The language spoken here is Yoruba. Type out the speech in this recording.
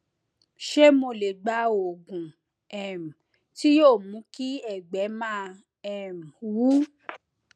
ṣé mo lè gba oògùn um tí yóò mú kí ẹgbẹ máa wú